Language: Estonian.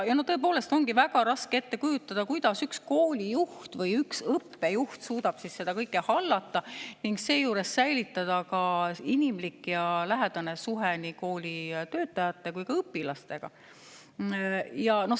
Ja tõepoolest on väga raske ette kujutada, kuidas üks koolijuht või üks õppejuht suudab seda kõike hallata ning seejuures säilitada ka inimliku ja lähedase suhte nii kooli töötajate kui ka õpilastega.